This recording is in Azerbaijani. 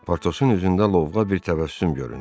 Portosun üzündə lovğa bir təbəssüm göründü.